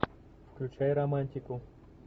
включай романтику